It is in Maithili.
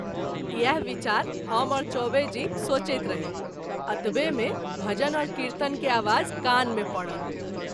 इएह बिचार हम और चौबे जी सोचैत रही , अतबे में भजन और कीर्तन के आवाज कान मे परल।